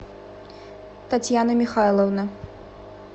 татьяна михайловна